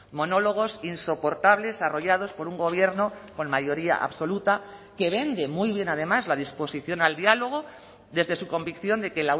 monólogos insoportables arrollados por un gobierno con mayoría absoluta que vende muy bien además la disposición al diálogo desde su convicción de que